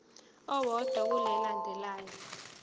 owodwa kule elandelayo